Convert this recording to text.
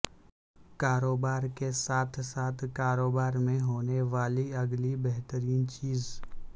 کاروبار کے ساتھ ساتھ کاروبار میں ہونے والی اگلی بہترین چیز